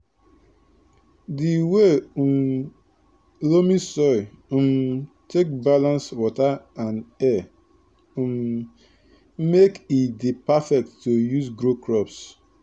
di way um loamy soil um take balance water and air um make e dey perfect to use grow crops